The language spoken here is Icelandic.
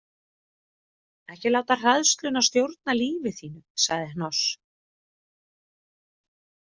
Ekki láta hræðsluna stjórna lífi þínu, sagði Hnoss.